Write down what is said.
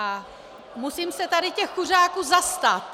A musím se tady těch kuřáků zastat.